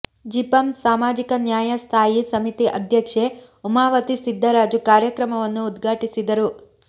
ಜಿಪಂ ಸಾಮಾಜಿಕ ನ್ಯಾಯ ಸ್ಥಾಯಿ ಸಮಿತಿ ಅಧ್ಯಕ್ಷೆ ಉಮಾವತಿ ಸಿದ್ದರಾಜು ಕಾರ್ಯಕ್ರಮವನ್ನು ಉದ್ಘಾಟಿಸಿದರು